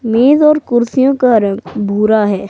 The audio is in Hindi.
मेज और कुर्सियों का रंग भुरा है।